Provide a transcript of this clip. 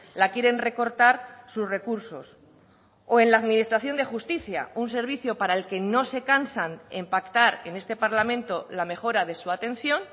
la quieren recortar sus recursos o en la administración de justicia un servicio para el que no se cansan en pactar en este parlamento la mejora de su atención